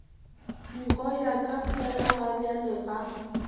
nko ya ka felagabjale ga